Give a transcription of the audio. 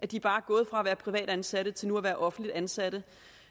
de bare er gået fra at være privatansatte til nu at være offentligt ansatte